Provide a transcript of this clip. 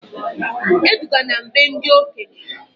E dugana m be ndị okenye!